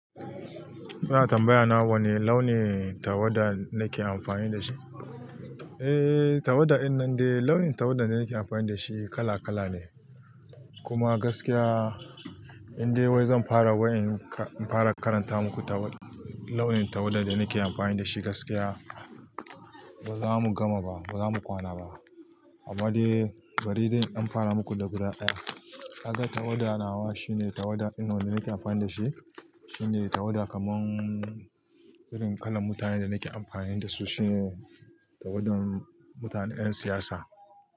Ina tambaya nawa wanne launin tawada nake amfani da shi? Eh, tawada dinnan dai launin tawada da nake amfani da shi kala kala ne. Kuma gaskiya in dai wai zan fara karanta muku launin tawada da nake amfani da shi, gaskiya ba zamu gama ba, ba zamu kwana ba. Amma dai bari dai in dan fara muku da guda ɗaya. Kaga tawada nawa shine tawada dinnan nake amfani da shi, shine tawada kaman irin kalan mutanen da nake amfani da su shine tawadan mutanen ƴan siyasa.